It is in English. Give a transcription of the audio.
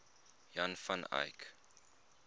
jan van eyck